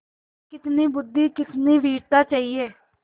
कितनी बुद्वि कितनी वीरता चाहिए